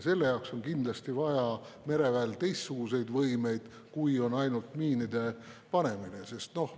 Selle jaoks on mereväel kindlasti vaja teistsuguseid võimeid kui ainult miinide panemine.